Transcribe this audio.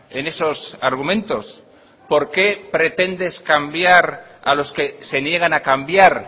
en esos argumentos por qué pretendes cambiar a los que se niegan a cambiar